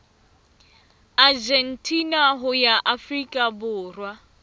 argentina ho ya afrika borwa